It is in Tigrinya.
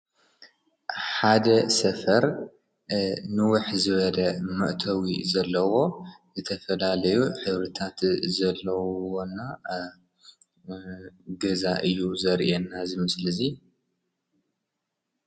ሓደ ሰፈር ንዉሕ ዝበለ መእተዊ ዘለዎ ዝተፈላለዩ ሕብርታት ዘለውዎ እና ገዛ እዩ ዘርእየና እዚ ምስሊ እዚ ።